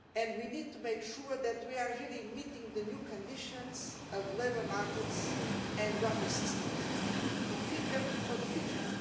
We need to make sure that we are really meeting the new conditions of labour markets and welfare systems, to fit them for the future.